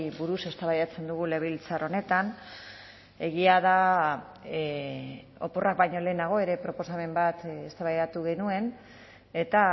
buruz eztabaidatzen dugu legebiltzar honetan egia da oporrak baino lehenago ere proposamen bat eztabaidatu genuen eta